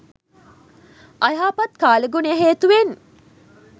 අයහපත් කාලගුණය හේතුවෙන්